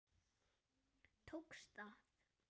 Tókst það.